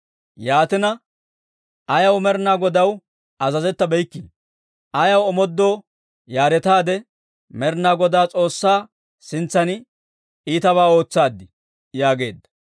Yaatina, ayaw Med'inaa Godaw azazettabeykkii? Ayaw omoodoo yaaretaade Med'inaa Godaa S'oossaa sintsan iitabaa ootsaaddii?» yaageedda.